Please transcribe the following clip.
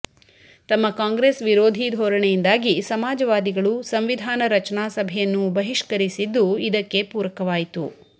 ತಮ್ಮ ಕಾಂಗ್ರೆಸ್ ವಿರೋಧಿ ಧೋರಣೆಯಿಂದಾಗಿ ಸಮಾಜವಾದಿಗಳು ಸಂವಿಧಾನ ರಚನಾ ಸಭೆಯನ್ನೂ ಬಹಿಷ್ಕರಿಸಿದ್ದೂ ಇದಕ್ಕೆ ಪೂರಕವಾಯಿತು